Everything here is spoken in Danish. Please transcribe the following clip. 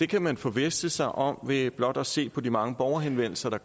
kan man forvisse sig om ved blot at se på de mange borgerhenvendelser der